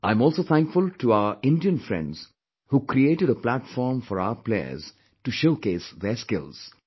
I'm also thankful to our Indian friends who created a platform for our players to showcase their skills"